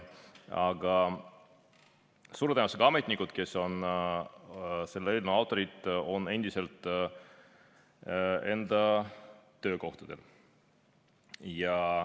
Aga suure tõenäosusega on ametnikud, kes on selle eelnõu autorid, endiselt enda töökohtadel.